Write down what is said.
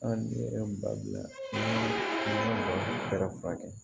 An bɛ ba bila an ka basi tɛ furakɛ